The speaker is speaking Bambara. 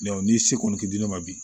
ni se kɔni tɛ di ne ma bi